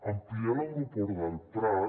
ampliar l’aeroport del prat